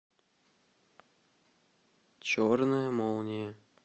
черная молния